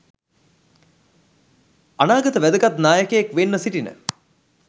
අනාගත වැදගත් නායකයෙක් වෙන්න සිටින